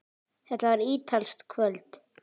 Þetta var ítalskt kvöld.